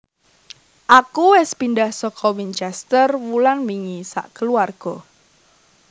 Aku wes pindah soko Winchestes wulan wingi sak keluargo